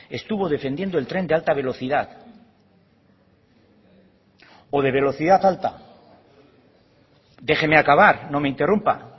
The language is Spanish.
estuvo defendiendo el tren de alta velocidad o de velocidad alta déjeme acabar no me interrumpa